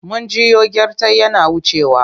Mun jiyo gyartai yana wucewa.